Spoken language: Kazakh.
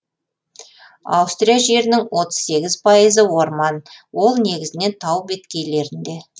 аустрия жерінің отыз сегіз пайызы орман ол негізінен тау беткейлерінде